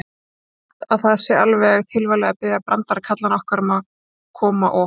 Ég held að það sé alveg tilvalið að biðja brandarakallana okkar að koma og.